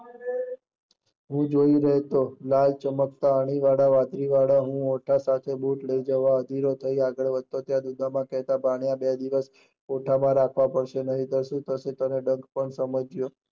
હું જોયી રહ્યો હતો, લાલ ચમકતા અણીવાળા વાંદરીવાળા હું બુટ લઇ જવા અદીર્યો થઇ જતા, આગળ આ બુટ બે દિવસ ખોખા માં રાખવા પડશે નહીં તો શું થશે તમે પણ સમજજો